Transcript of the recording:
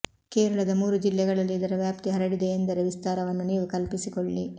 ಕೇರಳದ ಮೂರು ಜಿಲ್ಲೆಗಳಲ್ಲಿ ಇದರ ವ್ಯಾಪ್ತಿ ಹರಡಿದೆಯೆಂದರೆ ವಿಸ್ತಾರವನ್ನು ನೀವು ಕಲ್ಪಿಸಿಕೊಳ್ಳಿ